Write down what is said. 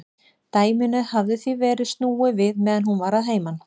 Dæminu hafði því verið snúið við meðan hún var að heiman.